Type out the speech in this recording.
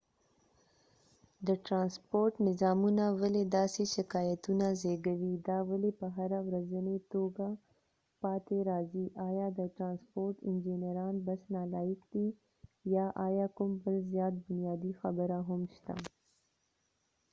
د ټرانسپورټ نظامونه ولې داسې شکایتونه زېږوي دا ولې په هره ورځنۍ توګه پاتې راځي آیا د ټرانسپورټ انجنیران بس نالایق دي یا ایا کوم بل زیات بنیادي خبره هم شته